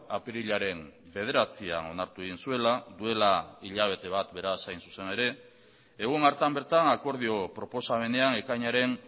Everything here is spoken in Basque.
apirilaren bederatzian onartu egin zuela duela hilabete bat beraz hain zuzen ere egun hartan bertan akordio proposamenean ekainaren